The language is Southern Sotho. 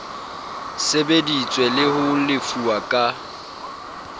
sebeditswe le ho lefuwa ka